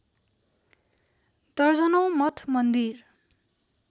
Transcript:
दर्जनौँ मठ मन्दिर